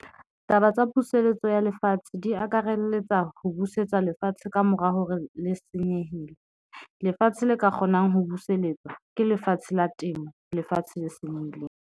Taba tsa puseletso ya lefatshe di akaraletsa, ho buseletswa lefatshe ka mora hore le senyehile lefatshe le ka kgonang ho buseletswa ke lefatshe la temo, lefatshe le senyehileng.